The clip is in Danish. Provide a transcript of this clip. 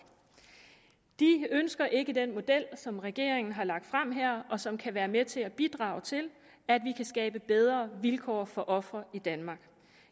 de ønsker ikke den model som regeringen har lagt frem og som kan være med til at bidrage til at vi kan skabe bedre vilkår for ofre i danmark